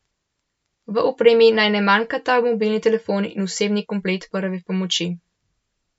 V opremi naj ne manjkata mobilni telefon in osebni komplet prve pomoči.